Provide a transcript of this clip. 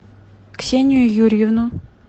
ксению юрьевну